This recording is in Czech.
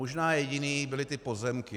Možná jediný byly ty pozemky.